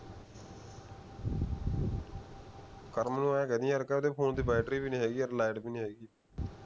ਕਰਮ ਨੂੰ ਐਂ ਕਹਿ ਦੇਈਂ ਯਰ ਉਹਦੇ ਦੀ ਵੀ ਹੈ ਨੀ ਵੀ ਹੈ ਨੀ